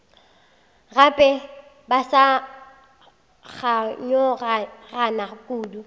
gape ba sa kganyogana kudu